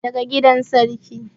daga gidan sarki